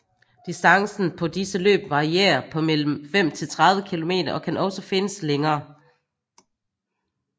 Distancen på disse løb varierer på mellem 5 til 30 km og kan også findes længere